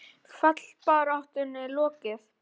Fallbaráttunni lokið?